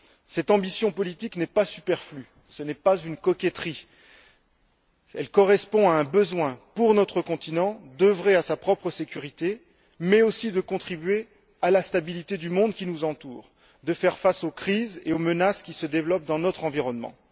Cette ambition politique n'est pas superflue, ce n'est pas une coquetterie. Elle correspond à un besoin, pour notre continent, d'œuvrer à sa propre sécurité mais aussi de contribuer à la stabilité du monde qui nous entoure, de faire face aux crises et aux menaces qui se développent dans notre environnement.